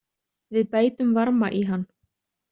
Við bætum varma í hann.